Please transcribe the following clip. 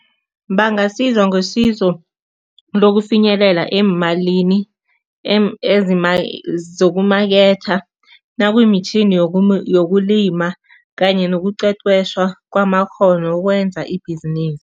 Bangasizwa ngesizo lokufinyelela eemalini zokumaketha, nakumitjhini yokulima kanye nokuqeqeshwa kwamakghono ukwenza ibhizinisi.